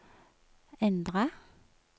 endra